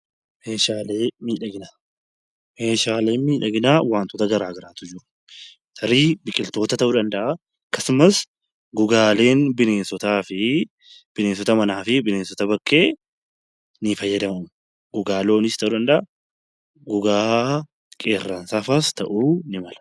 Meeshaaleen miidhaginaa wantoota garaagaraatu jira tarii biqiloota ta'uu danda'a akkasumas gogaaleen bineensotaa fi bineensota manaa fi bineensota bakkee ni fayyadamu. Gogaa looniis ta'uu danda'a gogaa qeerransaa fa'aa ta'uu ni mala.